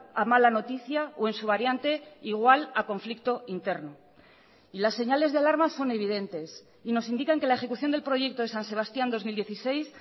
a mala noticia o en su variante igual a conflicto interno y las señales de alarma son evidentes y nos indican que la ejecución del proyecto de san sebastián dos mil dieciséis